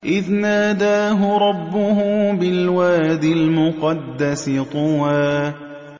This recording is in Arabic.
إِذْ نَادَاهُ رَبُّهُ بِالْوَادِ الْمُقَدَّسِ طُوًى